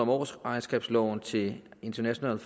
årsregnskabsloven til international